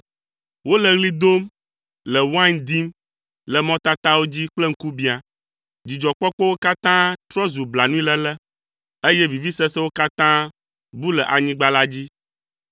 Wole ɣli dom le wain dim le mɔtatawo dzi kple ŋkubiã. Dzidzɔkpɔkpɔwo katã trɔ zu blanuiléle, eye vivisesewo katã bu le anyigba la dzi.